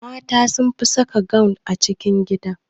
Mata sun fi saka gawun a cikin gida